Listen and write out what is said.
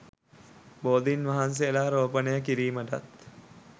බෝධීන් වහන්සේලා රෝපණය කිරීමටත්